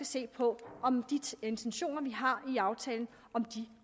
set på om de intentioner vi har med aftalen